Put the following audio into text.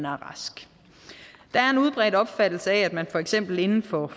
rask der er en udbredt opfattelse af at man for eksempel inden for